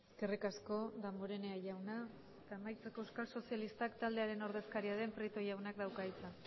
eskerrik asko damborenea jauna amaitzeko euskal sozialistak taldearen ordezkaria den prieto jaunak dauka hitza